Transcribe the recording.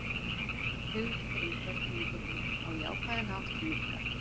Hugmyndir um hvernig við getum á jákvæðan hátt minnkað.